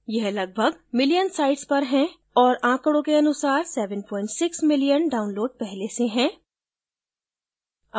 यह लगभग million sites पर हैं और आँकडों के अनुसार 76 million downloads पहले से हैं